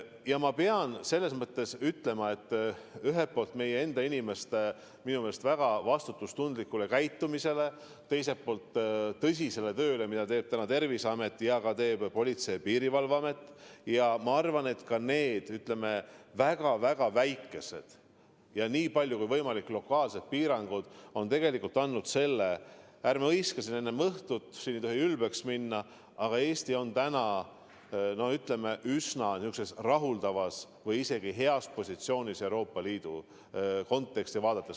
Ja ma pean ütlema, et ühelt poolt meie enda inimeste väga vastutustundlik käitumine, teiselt poolt aga tõsine töö, mida teeb Terviseamet ning ka Politsei- ja Piirivalveamet, samuti minu arvates ka need väga väikesed ja nii palju kui võimalik lokaalsed piirangud on tegelikult andnud selle – muidugi ärme hõiska enne õhtut, siin ei tohi ülbeks minna –, et Eesti on praegu üsna rahuldavas või isegi heas positsioonis, kui tervet Euroopa Liidu konteksti vaadata.